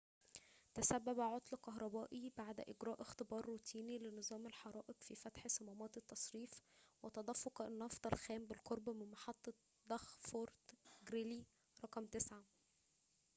تسبب عطل كهربائي بعد إجراء اختبار روتيني لنظام الحرائق في فتح صمامات التصريف وتدفق النفط الخام بالقرب من محطة ضخ فورت غريلي رقم 9